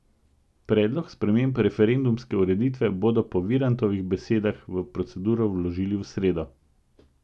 Predlog sprememb referendumske ureditve bodo po Virantovih besedah v proceduro vložili v sredo.